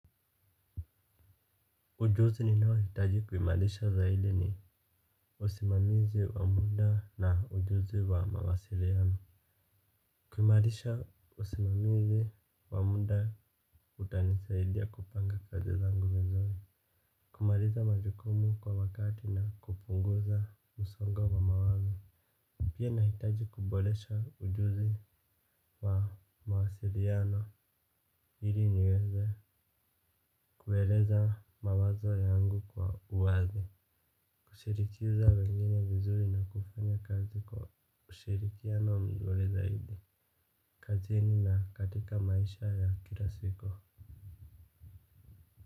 Ujuzi ninao hitaji kumalisha zaidi ni usimamizi wa muda na ujuzi wa mawasiliano. Kuimalisha usimamizi wa muda utanisaidia kupanga kazi zangu vizuri. Kumaliza majukumu kwa wakati na kupunguza msongo wa mawazo. Pia nahitaji kubolesha ujuzi wa mawasiliano ili niweze. Kueleza mawazo yangu kwa uwazi. Kushirikiza wengine vizuri na kufanya kazi kwa ushirikiano mzuri zaidi kazini na katika maisha ya kila siku.